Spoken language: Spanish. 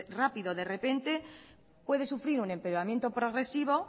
rápido de repente puede sufrir un empeoramiento progresivo